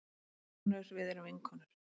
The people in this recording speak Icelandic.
Vinkonur við erum vinkonur.